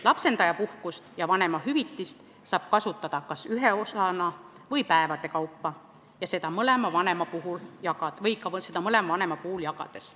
Lapsendajapuhkust ja lapsendaja vanemahüvitist saab kasutada kas ühes osas või päevade kaupa ning seda ka mõlema vanema vahel jagades.